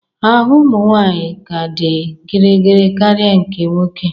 Ahụ ụmụ nwanyị ka dị gịrịgịrị karịa nke nwoke